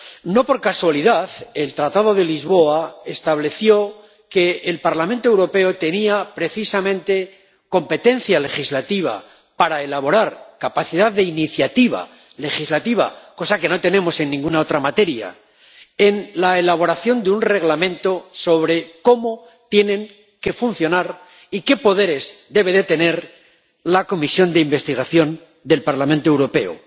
No por casualidad el Tratado de Lisboa estableció que el Parlamento Europeo tenía precisamente capacidad de iniciativa legislativa —cosa que no tenemos en ninguna otra materia— en la elaboración de un reglamento sobre cómo tienen que funcionar así como sobre los poderes que deben tener la comisiones de investigación del Parlamento Europeo.